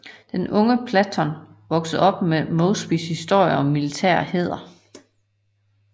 Den unge Patton voksede op med Mosbys historier om militær hæder